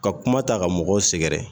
Ka kuma ta ka mɔgɔ sɛgɛrɛ